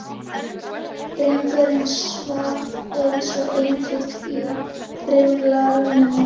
Drengurinn svaf eins og engill í rimlarúminu.